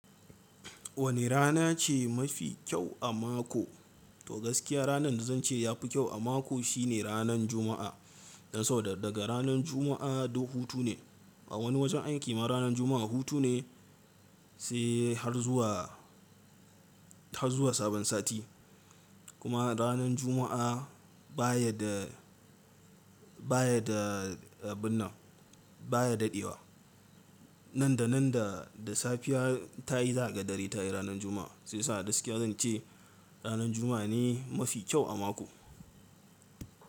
Wane rana ce mafi kyau a mako? To gaskiya ranar da zan ce ya fi kyau a mako shi ne ranan Juma'a. Dan sabo da daga ranan Juma'a duk hutu ne. A wani wajen aiki ma ranan Juma'a hutu ne sai har zuwa, har zuwa sabon sati. Kuma ranan Juma'a baya da, baya da abin nan baya daɗewa. Nan da nan da, da safiya ta yi zaga dare ta yi ranan Juma'a. Sai sa gaskiya zan ce ranan Juma'a ne mafi kyau a mako.